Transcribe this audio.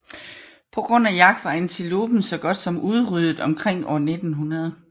På grund af jagt var antilopen så godt som udryddet omkring år 1900